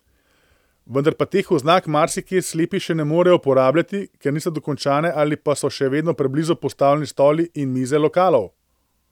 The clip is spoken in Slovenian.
Vendar pa teh oznak marsikje slepi še ne morejo uporabljati, ker niso dokončane ali pa so še vedno preblizu postavljeni stoli in mize lokalov.